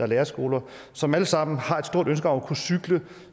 lærerskoler som alle sammen har et stort ønske om at kunne cykle